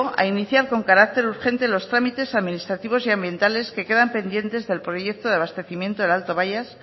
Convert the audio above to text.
a iniciar con carácter urgente los trámites administrativos y ambientales que quedan pendientes del proyecto de abastecimiento del alto bayas